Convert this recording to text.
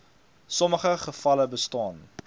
sommige gevalle bestaan